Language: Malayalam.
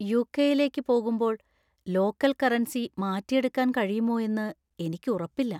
യു.കെ.യിലേക്ക് പോകുമ്പോൾ ലോക്കൽ കറൻസി മാറ്റിയെടുക്കാൻ കഴിയുമോ എന്ന് എനിക്ക് ഉറപ്പില്ല.